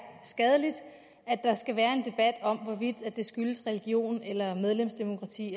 skadeligt at der skal være en debat om hvorvidt det skyldes religion eller medlemsdemokrati